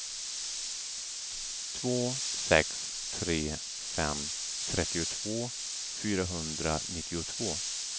två sex tre fem trettiotvå fyrahundranittiotvå